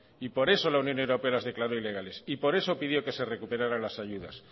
y por eso la unión europea las declaró ilegales y por eso pidió que se recuperaran las ayudas